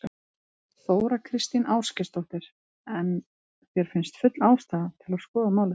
Þóra Kristín Ásgeirsdóttir: En þér finnst full ástæða til að skoða málið?